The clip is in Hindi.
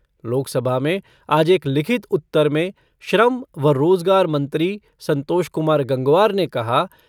लोकसभा में आज एक लिखित उत्तर में श्रम व रोज़गार मंत्री संतोष कुमार गंगवार ने कहा